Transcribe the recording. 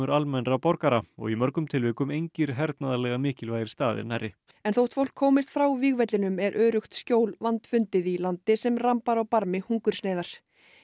almennra borgara og í mörgum tilvikum engir hernaðarlega mikilvægir staðir nærri en þótt fólk komist frá vígvellinum er öruggt skjól vandfundið í landi sem rambar á barmi hungursneyðar